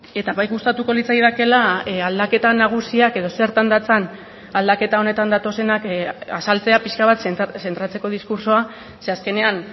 eta bai gustatuko litzaidakeela aldaketa nagusiak edo zertan datzan aldaketa honetan datozenak azaltzea pixka bat zentratzeko diskurtsoa ze azkenean